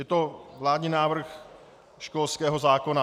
Je to vládní návrh školského zákona.